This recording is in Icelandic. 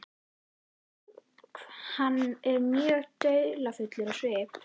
Hann er mjög dularfullur á svip.